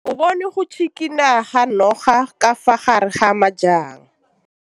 O bone go tshikinya ga noga ka fa gare ga majang.